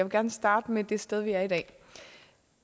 gerne starte med det sted vi er i dag